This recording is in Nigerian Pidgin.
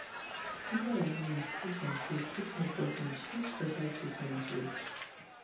media wahala based on faith fit make person choose special treatment way